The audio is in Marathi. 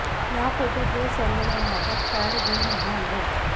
या फोटोत हे सर्वजण हातात पॅड घेऊन उभे आहेत